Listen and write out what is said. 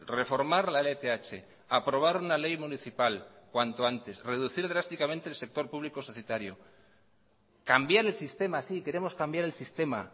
reformar la lth aprobar una ley municipal cuanto antes reducir drásticamente el sector público societario cambiar el sistema sí queremos cambiar el sistema